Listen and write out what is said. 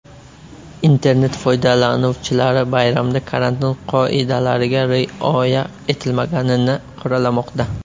Internet foydalanuvchilari bayramda karantin qoidalariga rioya etilmaganini qoralamoqda.